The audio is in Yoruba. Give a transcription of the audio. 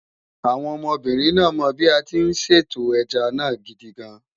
Àwọn ọmọbìnrin náà mọ bí a tí ń Sọ̀té ẹja náà gidigan